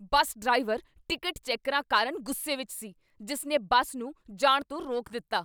ਬੱਸ driver ticket ਚੈਕਰਾਂ ਕਾਰਨ ਗੁੱਸੇ ਵਿੱਚ ਸੀ, ਜਿਸ ਨੇ ਬੱਸ ਨੂੰ ਜਾਣ ਤੋਂ ਰੋਕ ਦਿੱਤਾ।